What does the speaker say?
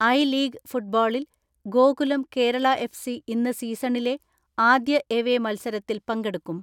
I league ഫുട്ബോളിൽ Gokulam Kerala F C ഇന്ന് സീസണിലെ ആദ്യ എവേ മത്സരത്തിൽ പങ്കെടുക്കും.